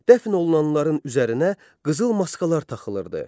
Dəfn olunanların üzərinə qızıl maskalar taxılırdı.